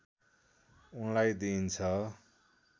उनलाई दिइन्छ